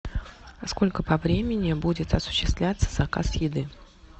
сколько по времени будет осуществляться заказ еды